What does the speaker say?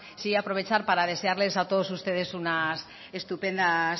sí aprovechar para desearles a todos ustedes unas estupendas